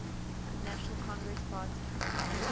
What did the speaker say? national congress party